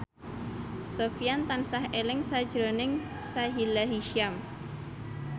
Sofyan tansah eling sakjroning Sahila Hisyam